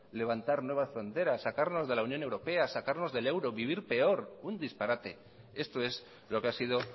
levantar nuevas fronteras sacarnos de la unión europea sacarnos del euro vivir peor un disparate esto es lo que ha sido